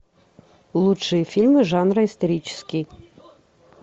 лучшие фильмы жанра исторический